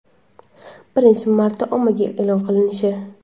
birinchi marta ommaga e’lon qilinishi).